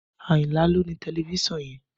Ayinla ló ni tẹlifísàn yẹn